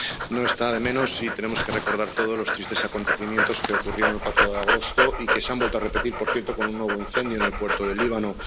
No está de menos si tenemos que recordar todos los tristes acontecimientos que ocurrieron el 4 de agosto y que se han vuelto a repetir, por cierto, con un nuevo incendio en el puerto del Líbano.